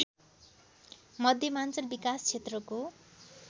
मध्यमाञ्चल विकास क्षेत्रको